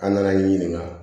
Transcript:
An nana n'i ɲininka